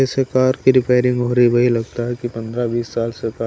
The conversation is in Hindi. जैसे कार की रिपेयरिंग हो रही वही लगता है कि पंद्रह बीस साल से--